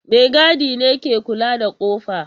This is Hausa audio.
Maigadi ne ke kula da kofa.